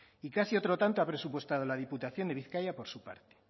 y casi otro tanto ha presupuestado la diputación de bizkaia por su parte